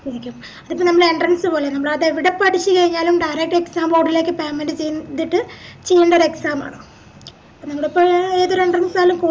അതിപ്പോ മ്മളെ entrance പോലാണ് മ്മളതെവിടെ പഠിച്ചയിഞ്ഞാലും directexam board ലേക്ക് payment ചെയ്‍തിട്ട് ചെയ്യണ്ടേ ഒര് exam ആണ് നിങ്ങളെപ്പോലില്ലൊരു ഏതൊരു entrance ആയാലും